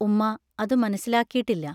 ഉമ്മാ അതു മനസ്സിലാക്കീട്ടില്ല.